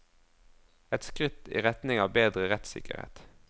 Et skritt i retning av bedre rettssikkerhet.